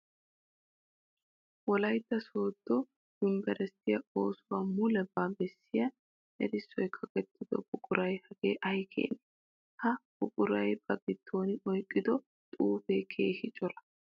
Wolaytta sodo yunbbersttiya oosuwa mulebba bessiya erissoy kaqettiddo buquray hagee ay keene! Ha buquray ba gidon oyqqiddo xuufe keehippe cora.